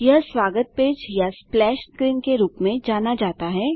यह स्वागत पेज या स्प्लैश स्क्रीन के रूप में जाना जाता है